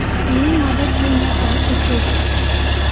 ची मदत घेण्याचा सुचविते.